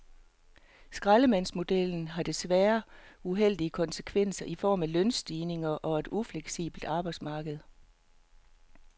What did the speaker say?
Skraldemandsmodellen har desværre uheldige konsekvenser i form af lønstigninger og et ufleksibelt arbejdsmarked.